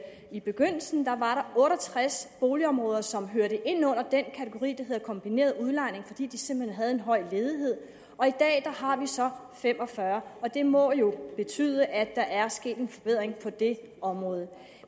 i begyndelsen var otte og tres boligområder som hørte ind under den kategori der hed kombineret udlejning fordi der simpelt hen høj ledighed og i dag har vi så fem og fyrre og det må jo betyde at der er sket en forbedring på det område